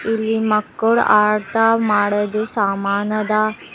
ಇಲ್ಲಿ ಮಕ್ಕಳ ಆಟ ಮಾಡುದ ಸಾಮಾನ ಅದ.